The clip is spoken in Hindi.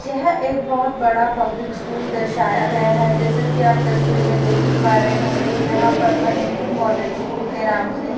यह एक बहोत बड़ा पब्लिक स्कूल दर्शाया गया है जैसे कि आप तस्वीर में देख हि पा रहे होंगे यहां पर महेंद्र मॉडल स्कूल के नाम से--